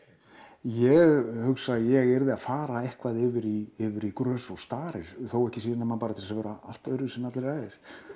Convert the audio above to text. ég hugsa að ég yrði að fara eitthvað yfir í yfir í grös og starir þó ekki sé nema til að vera allt öðruvísi en allir aðrir